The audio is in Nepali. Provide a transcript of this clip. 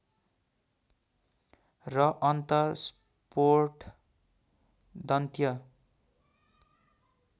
र अन्तस्फोट दन्त्य